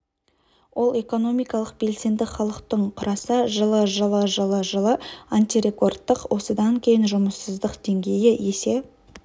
ол экономикалық белсенді халықтың құраса жылы жылы жылы жылы антирекордтық осыдан кейін жұмыссыздық деңгейі есе